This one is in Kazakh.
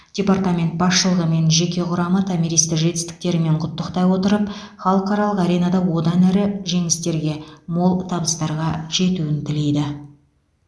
департамент басшылығы мен жеке құрамы томиристі жетістіктерімен құттықтай отырып халықаралық аренада одан әрі жеңістерге мол табыстарға жетуін тілейді